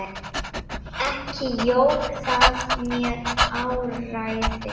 Ekki jók það mér áræði.